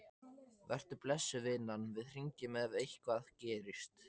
Vertu blessuð, vinan, við hringjum ef eitthvað gerist.